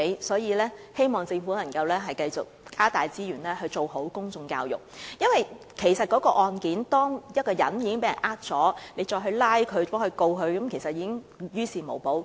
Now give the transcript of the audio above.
所以，我希望政府能夠繼續加大資源做好公眾教育，因為當有受害人被騙，即使將涉事的財務中介公司繩之於法，其實亦於事無補。